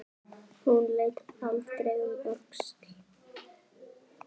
Hún leit aldrei um öxl.